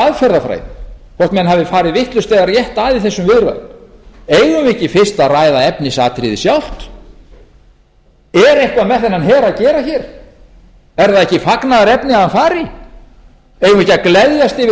hvort menn hafi farið vitlaust eða rétt að í þessum viðræðum eigum við ekki fyrst að ræða efnisatriðið sjálft er eitthvað með þennan her að gera hér er það ekki fagnaðarefni að hann fari eigum við ekki að gleðjast yfir því íslendingar